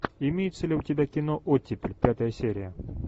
имеется ли у тебя кино оттепель пятая серия